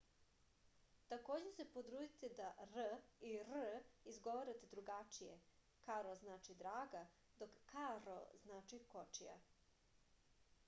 takođe se potrudite se da r i rr izgovarate drugačije karo znači draga dok karro znači kočija